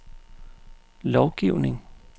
lovgivning